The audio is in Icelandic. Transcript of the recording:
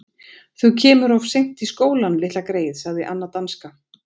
Þau kemur of seint í skólinn, litla greyið sagði Anna danska.